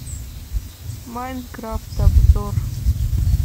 майнкрафт обзор